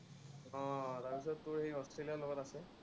আহ তাৰ পিচত তোৰ অষ্ট্ৰেলিয়াৰ লগত আছে।